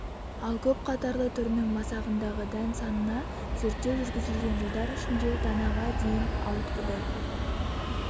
ал көп қатарлы түрінің масағындағы дән санына зерттеу жүргізілген жылдар ішінде данаға дейін ауытқыды